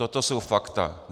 Toto jsou fakta.